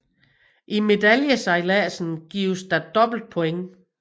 I medaljesejladsen gives der dobbelt points